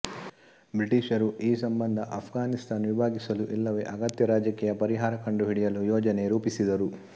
British ರು ಈ ಸಂಬಂಧ ಆಫ್ಘಾನಿಸ್ತಾನ್ ವಿಭಾಗಿಸಲು ಇಲ್ಲವೇ ಅಗತ್ಯ ರಾಜಕೀಯ ಪರಿಹಾರ ಕಂಡು ಹಿಡಿಯಲು ಯೋಜನೆ ರೂಪಿಸಿದರು